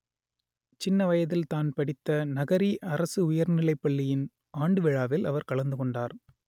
சின்ன வயதில்தான் படித்த நகரி அரசு உயர்நிலைப் பள்ளியின் ஆண்டுவிழாவில் அவர் கலந்து கொண்டார்